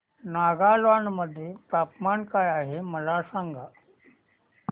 नागालँड मध्ये तापमान काय आहे मला सांगा